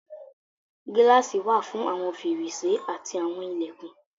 Gíláàsì wà fún àwọn fèrèsé àti àwọn ilẹ̀kùn.